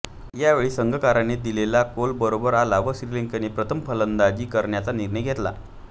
यावेळी संघकाराने दिलेला कौल बरोबर आला व श्रीलंकेने प्रथम फलंदाजी करण्याचा निर्णय घेतला